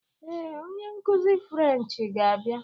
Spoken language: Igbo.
Ee, onye nkuzi Frenchị ga-abịa.